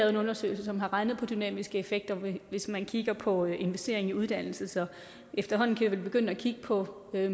en undersøgelse som har regnet på de dynamiske effekter hvis man kigger på investering i uddannelse så efterhånden kan vi vel begynde at kigge på at